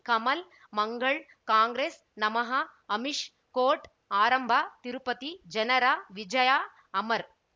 ಕಮಲ್ ಮಂಗಳ್ ಕಾಂಗ್ರೆಸ್ ನಮಃ ಅಮಿಷ್ ಕೋರ್ಟ್ ಆರಂಭ ತಿರುಪತಿ ಜನರ ವಿಜಯ ಅಮರ್